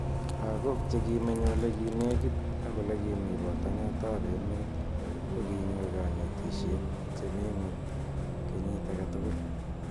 Lagok che ki menye ole nekit ak ole kimi potanet ap emet ko kinyor kanetishet che mi nguny kenyit akei tukul.